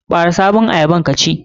Ɓare sabon ayyabar ka ci.